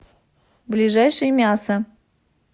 ближайший мясо